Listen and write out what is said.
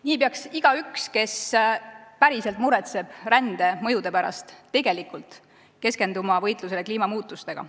Nii peaks igaüks, kes päriselt muretseb rände mõjude pärast, tegelikult keskenduma võitlusele kliimamuutustega.